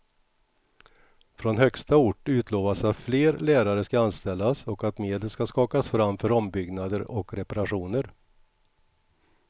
Från högsta ort utlovas att fler lärare ska anställas och att medel ska skakas fram för ombyggnader och reparationer.